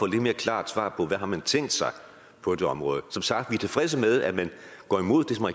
lidt mere klart svar på hvad man har tænkt sig på det område som sagt er vi tilfredse med at man går imod